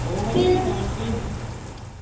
ਉਹੋ ਹੀ ਕਿ ਜਾਣ ਕੇ ਹੀ।